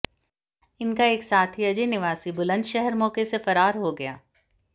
इनका एक साथी अजय निवासी बुलंदशहर मौके से फरार हो गया